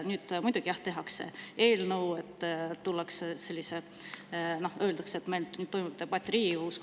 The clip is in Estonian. Nüüd, muidugi, jah, tehakse eelnõu, tullakse ja öeldakse, et toimub debatt Riigikogus.